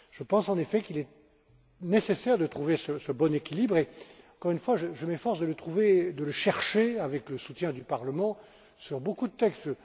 Je pense, en effet, qu'il est nécessaire de trouver ce bon équilibre et encore une fois, je m'efforce de le chercher, avec le soutien du Parlement, sur beaucoup de textes.